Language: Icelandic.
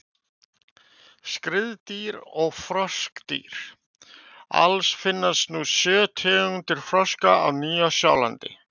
Skriðdýr og froskdýr: Alls finnast nú sjö tegundir froska á Nýja-Sjálandi.